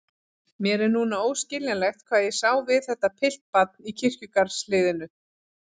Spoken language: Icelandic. Mér er núna óskiljanlegt hvað ég sá við þetta piltbarn í kirkjugarðshliðinu.